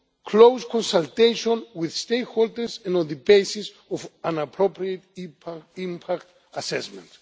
close consultation with stakeholders and on the basis of an appropriate impact assessment.